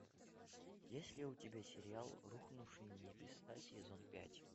есть ли у тебя сериал рухнувшие небеса сезон пять